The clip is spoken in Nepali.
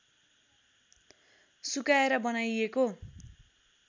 सुकाएर बनाइएको